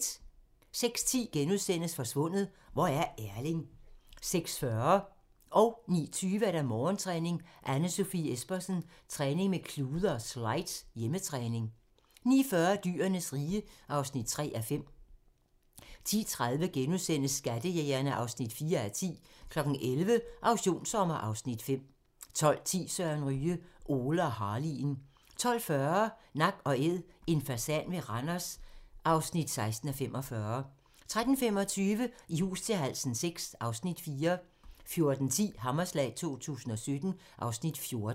06:10: Forsvundet - hvor er Erling? (Afs. 4)* 06:40: Morgentræning: Anne Sofie Espersen - træning med klude og slides - hjemmetræning 09:20: Morgentræning: Anne Sofie Espersen - træning med klude og slides - hjemmetræning 09:40: Dyrenes rige (3:5) 10:30: Skattejægerne (4:10)* 11:00: Auktionssommer (Afs. 5) 12:10: Søren Ryge: Ole og Harley'en 12:40: Nak & Æd - en fasan ved Randers (16:45) 13:25: I hus til halsen VI (Afs. 4) 14:10: Hammerslag 2017 (Afs. 14)